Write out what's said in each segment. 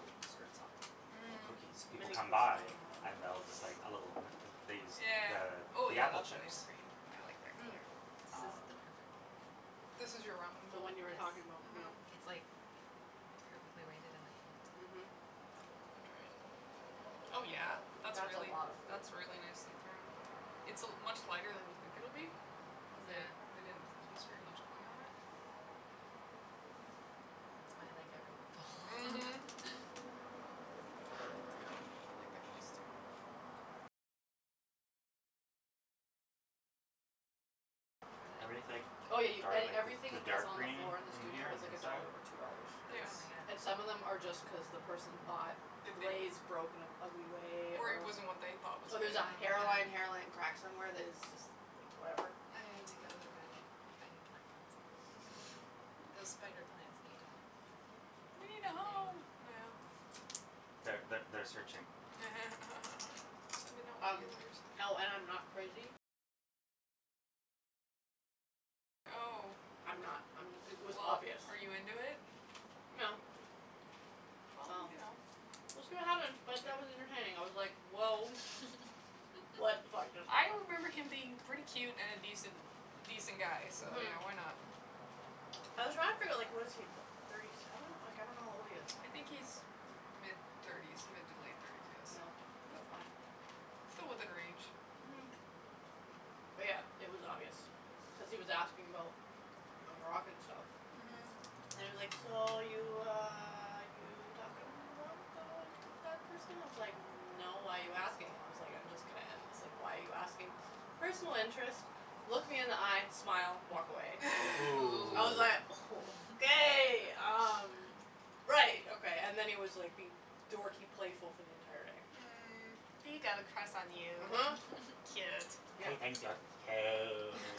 little desserts on them or Mhm. cookies. People come by and they'll just like a little b- they use the Yeah. Oh, the yeah, apple that's a chips. nice green. I like that Mm. color. This is Um the perfect bowl. This is your ramen The bowl? one you were talking about, yeah. Mhm. Yes. It's, like, perfectly weighted in my Mhm. hand. Let me try it. Oh, yeah, that's That's a really lotta food. that's really nicely thrown. It's a much lighter than you think it'll be cuz Yeah. they they didn't use very much clay on it. It's my, like, everything Mhm. bowl. That's a good one. I like that glaze, too. Everything's like Oh, yeah, y- dark, a- like everything the that's dark on the green floor in the in in studio here is on the like a inside dollar or two dollars. Yeah. Oh, is And some of them my god. are just cuz the person thought the glaze broke in an ugly way Or it or wasn't what they thought was or good. there's a Oh, hairline my hairline crack god. somewhere that is just, like, whatever. I need to Mhm. go there now. I need plant pots. Mhm. Those spider plants need They need a a home, thing. yeah. Th- th- they're searching. Sending out Um, feelers. oh, and I'm not crazy. I'm not I'm it was Well, obvious. are you into it? No. Well, Well, you know, we'll it's see like what happens, but that was entertaining. I was like, woah. What the fuck just I happened. remember him being pretty cute and an a decent, a decent guy so, Mhm. yeah, why not? I was trying to figure out, like, what is he, thirty seven? Like, I don't know how old he is. I think he's mid thirties, mid to late thirties, yes, Yeah, that's but fine. still within range. Mhm. But, yeah, it was obvious cuz he was asking about my Moroccan stuff. Mhm. And he was like, so, you, uh, you talking about, uh, that person? I was like, no, why are you asking? I was like, I'm just gonna end this. Like, why are you asking? Personal interest, look me in the eye, smile, walk away. Ooh. I was like, Ooh. okay, um, right, okay. And then he was being like dorky playful for the entire day. Mm. He got a crush on you. uh-huh. Cute. Yeah. He thinks you're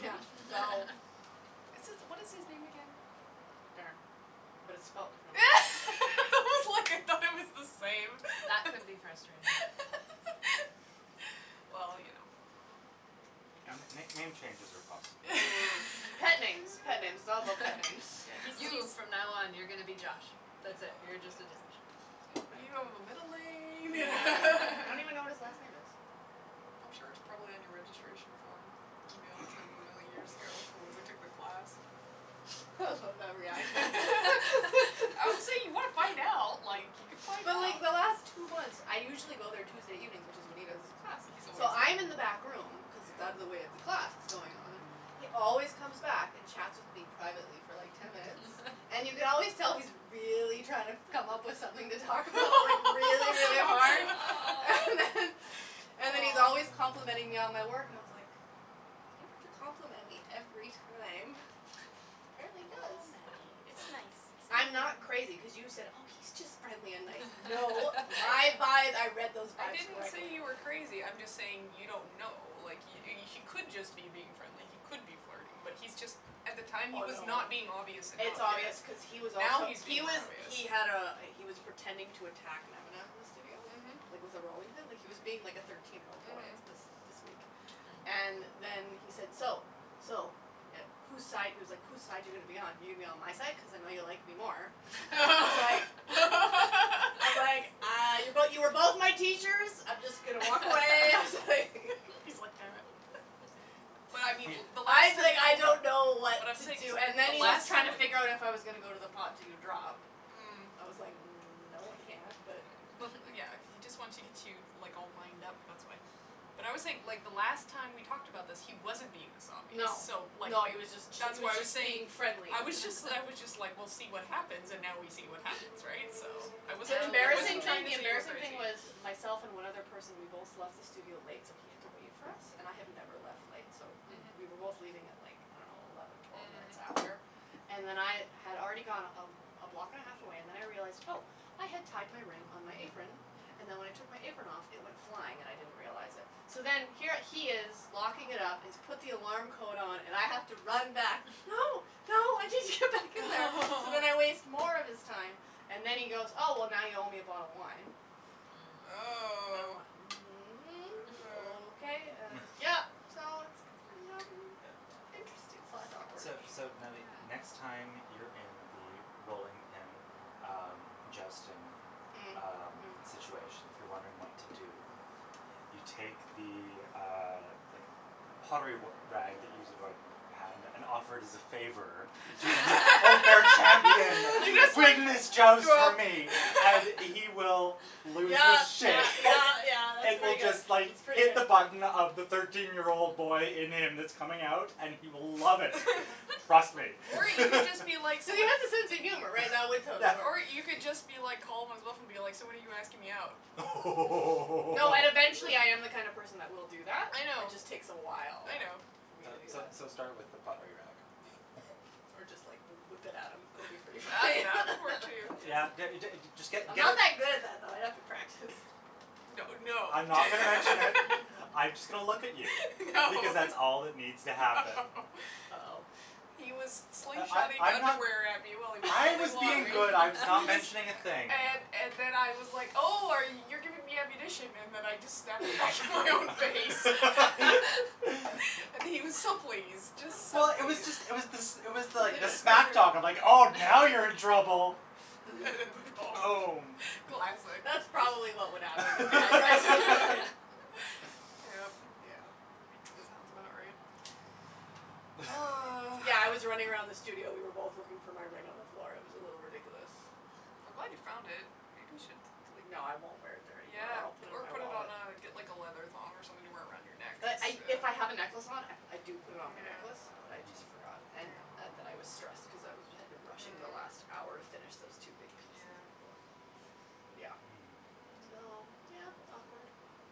Yeah, so It's it's what is his name again? Darren, but it's spelled differently. I was like, I thought it was the same. That could be frustrating. Well, you know. N- n- Yeah. name changes are possible. Pet names, pet names, all about pet names. Yeah, he seems You, from now on, you're gonna be Josh. That's it, you're just a Josh. You don't have a middle name Yeah. I don't even know what his last name is. I'm sure it's probably on your registration form email from a million years ago from when we took the class. I love that reaction. Obviously if you want to find out, like, you could find But, out. like, the last two months, I usually go there Tuesday evenings, which is when he does his class, He's always so there. I'm in the back room cuz it's out of the way of the Yeah. class that's going on, he always comes back and chats with me privately for like ten minutes, and you can always tell he's really trying to come up with something to talk about, like, really, really hard. And then and then he's always Oh. complimenting me on my Oh. work and I was like, you don't have to compliment me every time. Oh, Apparently he does. Oh, Nattie, it's Nattie, it's nice. nice. I'm not crazy, cuz you said, oh, he's just friendly and nice. No, my vibe, I read those I vibes didn't say correctly. you were crazy, I'm just saying you don't know. Like, he he could just be being friendly, he could be flirting, but he's just, at the time he Oh, was no. not being obvious enough It's yet. obvious cuz he was Now also he's He being more was obvious. he had a he was pretending to attack Nemana in the studio, Mhm. like, with a rolling pin. Like, he was being like a thirteen year old boy Mhm. this this week. And then he said, "So, so, who's side," he was like, who's side you gonna be on? You going to be on my side, cuz I know you like me more. I was like I was like, uh, but you were both my teachers. I'm just going to walk away. I was like He's like, damn it. But I mean He- the last time that okay, I don't know so what But I'm to saying do. so And then the he was last trying time to just figure out if I was gonna go to the pot to do drop. Mm. I was like, no, I No, can't, but but, yeah, he just wants to get you, like, all wind up, that's why. But I always think the last time we talked about this, he wasn't being this obvious No, so, like, no, he was just that's he why was I was just saying, being friendly. I was just I was just like, we'll see what happens, and now we see what happens, right, so I wasn't The Now embarrassing trying thing to the we know. say you were embarrassing thing crazy. was myself and one other person, we both left the studio late, so he had to wait for us. And I have never left late, so we were both Mhm. Mhm. leaving at, like, I don't know, eleven, twelve minutes after Mhm. and then I had already gone a a block and a half away and then I realized, oh, I had tied my ring on my apron and then when I took my apron off, it went flying and I didn't realize it. So then here he is locking it up and he's put the alarm code on and I have to run back. No, no, I need to get back in there! So then I waste more of his time and then he goes, oh, well, now you owe me a bottle of wine. Mm. I'm Oh. like, I mhm, don't okay, know. and yeah, so it's Yeah. interesting slash awkward. So so, Natalie, next Yeah. time you're in the rolling pin, um, jousting, Mm. um, Mhm. situation, if you're wondering what to do, you take the, uh, like, pottery r- rag that you use to wipe your hand and offer it as a favor to the unfair You champion. just Leave like him his joust for me and he will lose Yeah, his yeah, shit. yeah, yeah, that's It will pretty good. just, That's like, pretty hit the good. button of the thirteen year old boy in him that's coming out and he will love it. Trust me. Or you can just be like s- He has a sense of humor, right? That would Yeah. totally work. Or you could just be like calm and stuff and be like, so when are you asking me out? Oh! No, and eventually I am the kind of person that will do that. I It know. just takes a while I know. for me So to do so that. so start with the pottery rag. Or just, like, whip it at him. That would be pretty That funny. that could work, too, yes. Yeah, d- d- just get I'm not get that good at that, though. I'd have to practice. That would no. I'm not gonna mention it. I'm just going to look at you No. because that's all that needs to happen. No. Oh. He was I slingshotting I I'm not underwear at me while he was I throwing was being pottery. good. I was not He mentioning a was thing. And and then I was like, oh, are y- you're giving me ammunition and then I just snapped it back in my own face. And he was so pleased, just so Well, it was pleased. just it was this it was like the smack talk of, like, oh, now you're in trouble. Boom. Classic. That's probably what would happen if I tried to go in. Yep. Yeah. Sounds about right. Oh. Yeah, I was running around the studio. We were both looking for my ring on the floor. It was a little ridiculous. I'm glad you found it. Maybe you should, like No, I won't wear it there anymore or Yeah, I'll put it in or my put it on wallet. a, get like a leather thong or something to wear it around your neck. But I if I have a necklace on, I do put it on my necklace, but I Yeah. just Mhm. forgot. And and then I was stressed because I had been rushing the last hour to Mm. finish those two big pieces. Yeah. Yeah. Hmm. So, Mm. yeah, awkward.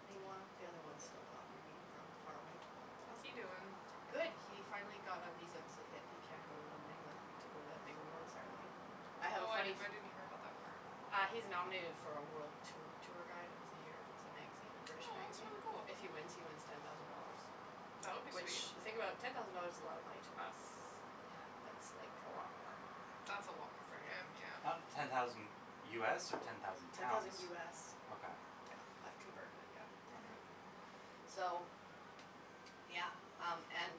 Meanwhile, the other one's still talking to me from far away. How's he doing? Good. He finally got a visa so that he can go to London, England to go to that big awards ceremony. I have a Oh, I funny f- didn't hear about that part. Uh he's nominated for a world t- tour guide of the year. It's a magazine, a British magazine. Oh, If that's he really wins, cool. he wins ten thousand dollars. That would be Which, sweet. you think about it, ten thousand dollars is a lot of money to us. Yeah. That's like a lot more That's a lot more for for him, him. Uh yeah. ten thousand US or ten thousand Ten thousand pounds? US. Okay. Yeah, I've converted it, yeah. Mhm. So, yeah, um, and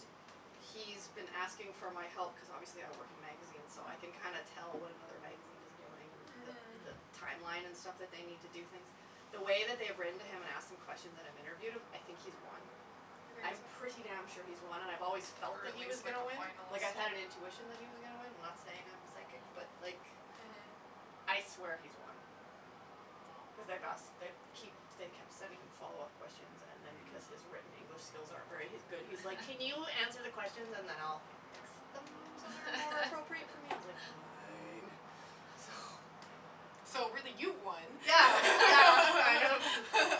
he's been asking for my help cuz obviously I work in magazines, so I can kinda Mm. tell what another magazine is doing and the the Mhm. timeline and stuff that they need to do things. The way that they've written to him and asked him questions and I've interviewed him, I think he's won. You I'm pretty think so? damn sure he's won, and I've always Or felt that at he was least like gonna a win. Like, I had an finalist. intuition that he was gonna win. I'm not saying I'm psychic, but like Mhm. I swear he's won cuz they've asked Well they keep they kept sending him follow up questions and then because his Mm. written English skills aren't very good, he's like, can you answer the questions and then I'll fix them so they're more appropriate for me? I was like, fine. So So, really, you won. Yeah, yeah, I know.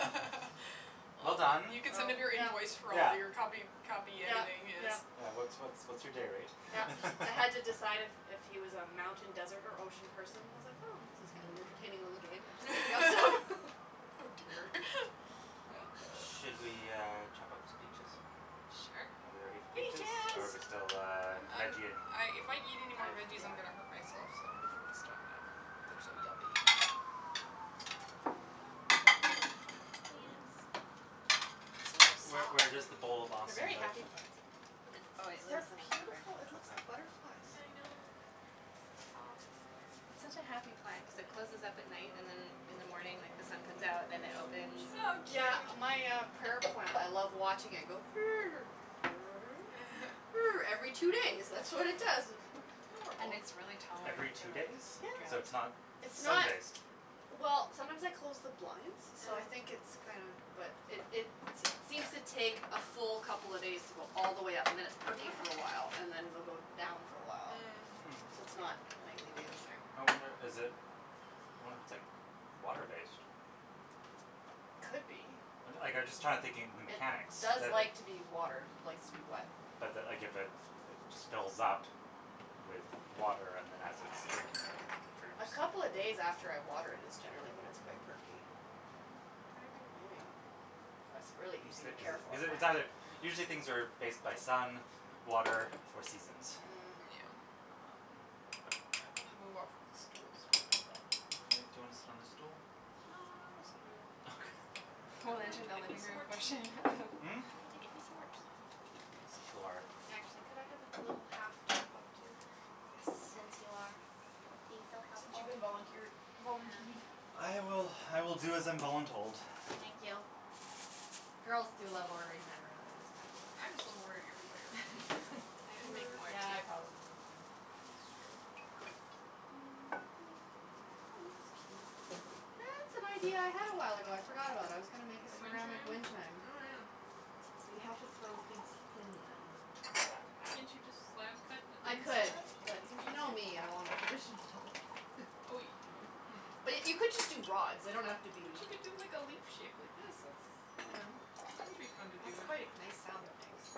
Well done. You could send him your invoice for all your copy Yeah. copy Yeah, editing, yes. yeah. Yeah, what's what's what's your day rate Yeah. I had to decide if if he was a mountain, desert or ocean person. I was like, oh, this is kind of an entertaining little game. Oh, dear. Should we, uh, chop up some peaches? Sure. Are we ready for peaches? Or are we still, Peaches. uh, I'm I'm veggie ing? if I eat anymore I, veggies, I'm going to hurt yeah. myself, so I'm going to stop now. They're so yummy. Where where does the bowl of They're awesome very live? happy plants in here. Oh, it They're lives in the cupboard. beautiful. It looks Okay. like butterflies. I know. So soft. It's such a happy plant cuz it closes up at night and then in the morning, like, the sun comes out and then it opens Oh, and cute. Yeah. My, uh, prayer plant, I love watching it go Every two days, that's what it does. It's And adorable. it's really Every tolerant to, two like, days? So drought, it's Yeah. not It's sun not like based? Well, sometimes I close the blinds, so I think it's Mm. kinda, but it it seems to take a full couple of days to go all the way up and then it's perky for a while and then it'll go down for a while, Hmm. so Mm. it's not nightly, daily. Interesting. I wonder, is it I wonder if it's, like, water based. Could be. Like I'm just trying to think the It mechanics does that it like to be watered, likes to be wet. But that, like, if it just fills up with water and then as its drinking it, it droops. A couple of days after I water it is generally when it's quite perky. Mm, maybe. Maybe, Yeah. but it's a really easy to care for Is it it's either plant. usually things are based by sun, water or seasons. Yeah. Mm. Um, but I'm I'm gonna move off of this stool's hurting my butt. Okay, do you wanna sit on the stool? No, I'll go sit over there. Okay. Would We'll you mind enter the getting me living some room more tea? portion of Mm? Can you get me some more tea, please? Sure. Actually, could I have a little half top up, too? Since you are being so Since you've helpful. been volunteered, volunteed. Yeah. I will, I will do as I'm voluntold. Thank you. Girls do love ordering men around, it is kind of fun. I just love ordering everybody around, I don't care. I can make Gender. more, Yeah, too. I probably do, too. That's true. Oh, this is cute. That's an idea I had a while ago. I forgot about. I was gonna make a The wind ceramic chime? wind chime. Oh, yeah. But you have to throw things thin then. Well, can't you just slab cut a I thin could, slab? but Wouldn't you know that be me, I want a easier? traditional Oh, you But Hmm. y- you could just do rods. They don't have to But be you could do like a leaf shape like this. That's, I don't Yeah. know, that would be fun to do. That's quite a nice sound it makes.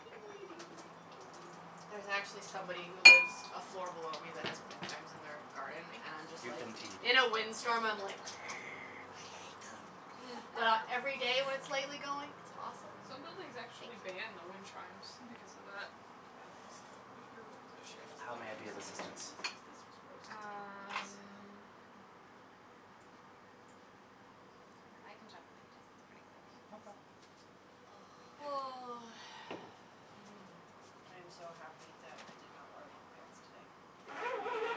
Yeah. There's actually somebody who lives a floor below me that has wind chimes in their garden Thank and I'm just You've like been teed. In you. a wind storm, I'm like I hate them. Mm. But every day when it's lightly going, it's awesome. Some buildings Thank actually you. ban the wind chimes because of that. Yeah. So, you you're welcome to share this How thing. may I be of Just gonna move assistance? this cuz this was roasting me. Yes. Um, I I can chop the peaches. It's pretty quick, so Okay. Oh, Oh. thanks. Mm. I am so happy that I did not wear long pants today.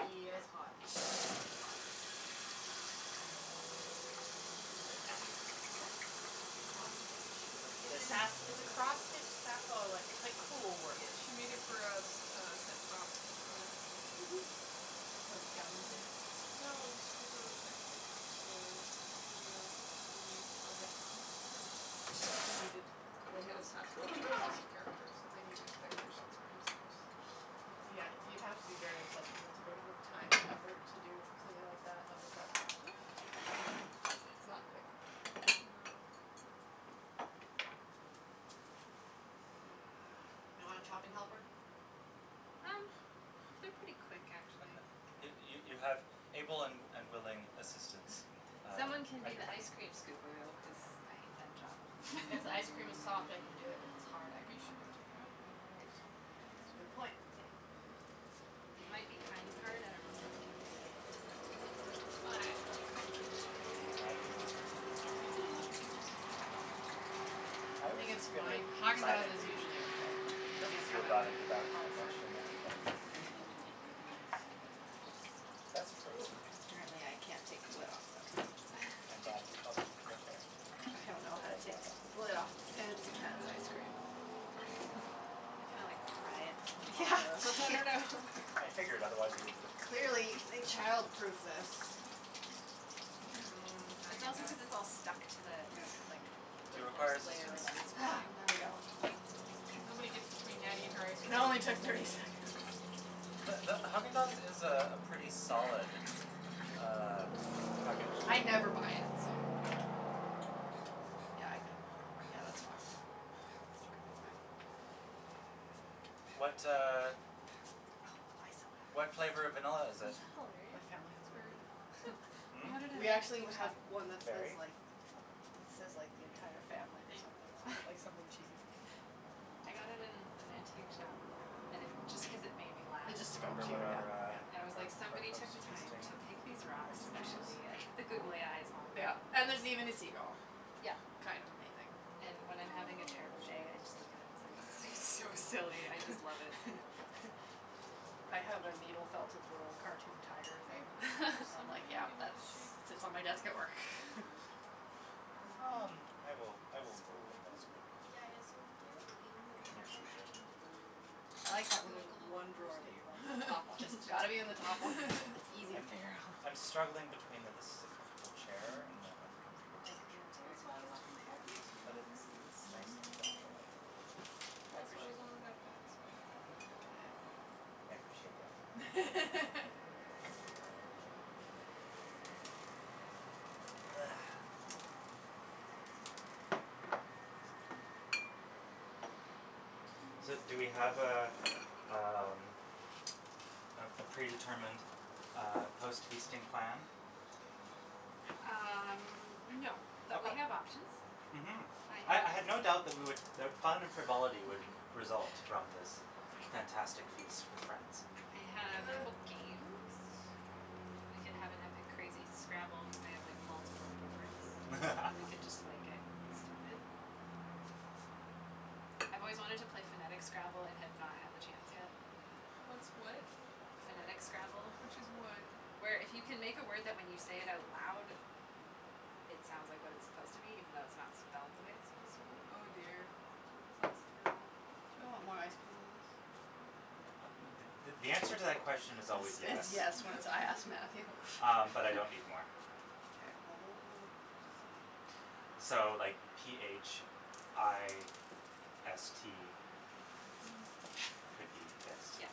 Yeah, It's hot. it's hot. It's hot. Is that cross stitch? It It's a This is. sas- it's a cross stitch sa- oh, like it's like cruel work. Yeah, she made it for a s- a set prop for Some cabin thing? Yeah. No, it was for her ex boyfriends, uh, video movie project or Mm. something. They needed the head of sasquatch obsessed character, so they needed decorations for his house. Yeah, you'd have to be very obsessed with it to go to the time and effort to do something like that of a sasquatch. Yeah. It's not quick. No. Hmm. You want a chopping helper? Um, they're pretty quick, actually. Okay. You you you Okay. have able and and willing assistants, uh, Someone can at be your the ice beckon. cream scooper, though, cuz Okay. I hate that job. If ice cream is soft, I can do it. If it's hard, I Maybe you should cannot do go it. take it out. And they'll It be soft by the Yeah, time it's a good point. it might be kind of hard, I don't know. Hot. I do. I I was think it's just going to fine. Haagen Dazs is silently usually okay. It tease doesn't you kinda about it go Yeah. without hard hard. mentioning anything. But the you wouldn't get to laugh as much, That's so. Ooh, true. apparently I can't take the lid off, though. I'm glad you felt comfortable sharing it. I don't know It how to was take more fun. the lid off of fancy I'm not pants ice actually cream. done. I was playing. You kinda like pry it from Yeah. the bottom. I figured, otherwise you wouldn't have continued. Clearly they childproofed this. Mm, It's Haagen also cuz Dazs. it's all stuck to the, like, the Do you require first layer assistance? of ice Ah, cream. there we go. Nobody gets between Nattie and her ice It cream. only took thirty seconds. The the Haagen Dazs is a pretty solid, uh packaged I never buy it, so Yeah. Yeah, I think Yeah, that's fine. That's totally fine. Mm. What, uh, Oh, I so have one what flavor of vanilla of is it? Isn't that these. My hilarious? family It's has one, berry vanilla. yeah. They Hmm? had it at We an actually antique have shop. one that Berry. says, Berry? like, Okay. it says, like, the entire I family or think, something that's on what I it, can like see something from here. cheesy. I got it in an antique shop and it just cuz it made me laugh. It Do just you spoke remember to you, what yeah, our, yeah. And it was uh, our like our somebody post took the time feasting to pick these rocks activity is? specially and put the googly eyes on Yeah, them and and there's even a seagull. Yeah. Kind of amazing. And when I'm No, I having a don't know terrible if she day, has I a just look specific at it plan. and it's so Okay. silly, I just love it. We'll I figure it out. have a needle felted little cartoon tiger Are thing. you hot from the sun I'm on like, you? Do yeah, you want that's the shade this, sits on my desk at uh, work. curtain closed? Um, I will, I will move in the Spoons would be, I assume, here? In the near drawer. future. Okay. I You look like that, you when there's look a little one drawer that roasting. you're, like, the top one. Just It's a got to be in the top one. tad. It's easy to I'm figure out. I'm struggling between the this is a comfortable chair and an uncomfortable I like the temperature. Well, interior of that's the why I was kitchen offering to help layout. you, so you But wouldn't have to it's move. it's nice to have natural light. I Well, that's why I was appreciate only gonna close this one. Mkay. I appreciate the offer. Thank you. You're welcome. Ah. So, do we have a, um, a a predetermined uh post feasting plan? Um, no, but we Okay. have options. Mhm. I I have I had no doubt that we would that fun and frivolity would result from this fantastic feast with friends. I have a Uh. couple games. We can have an epic, crazy Scrabble. Cuz I have, like, multiple boards and we can just, like, get stupid. Um, I've always wanted to play phonetic Scrabble and have not had the chance yet. What's what? Phonetic Scrabble. Which is what? Where if you can make a word that when you say it out loud it sounds like what it's supposed to be even though it's not spelled the way it's supposed to be. Oh, dear, that sounds terrible. You want more ice cream than this? Th- th- the answer to that question is always Is is yes. yes when it's I ask Matthew. Um, but I don't need more. K, well, what we'll Um, so, like, p h i s t could be fist? Yeah.